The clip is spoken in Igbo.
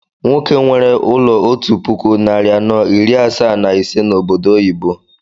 Nwoke nwere ụlọ otú puku narị anọ iri asaa na ise na obodo oyibo